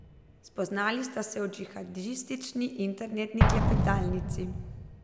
Spoznali sta se v džihadistični internetni klepetalnici.